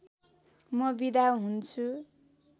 म बिदा हुन्छु